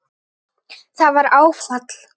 Það var áfall.